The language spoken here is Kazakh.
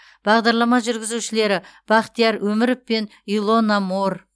бағдарлама жүргізушілері бахтияр өміров пен илона моор